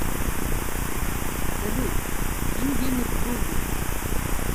салют скинь денег другу